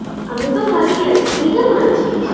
আমি তো ভালোই আছি তুই কেমন আছিস?